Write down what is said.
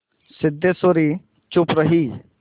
सिद्धेश्वरी चुप रही